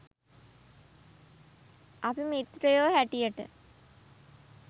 අපි මිත්‍රයෝ හැටියට